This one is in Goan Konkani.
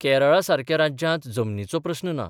केरळा सारक्या राज्यांत जमनीचो प्रस्न ना.